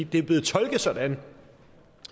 det er blevet tolket sådan af